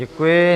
Děkuji.